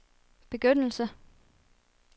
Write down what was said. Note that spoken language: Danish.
begyndelse